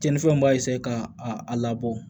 Cɛnnifɛnw b'a ka a labɔ